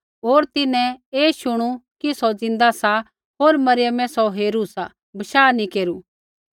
होर तिन्हैं ऐ शुणु कि सौ ज़िन्दा सा होर मरियमै सौ हेरू सा बशाह नैंई केरु